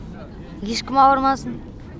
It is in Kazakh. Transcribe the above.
ешкім ауырмасын